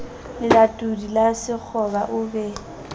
lelatodi la sekgoba o be